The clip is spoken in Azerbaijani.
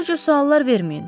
Mənə bu cür suallar verməyin.